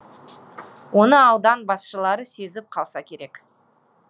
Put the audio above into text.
оны аудан басшылары сезіп қалса керек